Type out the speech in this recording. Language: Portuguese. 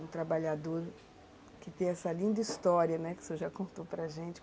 um trabalhador que tem essa linda história, né, que o senhor já contou para gente.